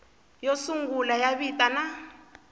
yo sungula ya vito na